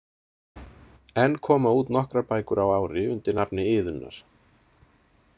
Enn koma út nokkrar bækur á ári undir nafni Iðunnar.